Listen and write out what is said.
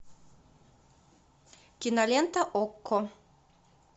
кинолента окко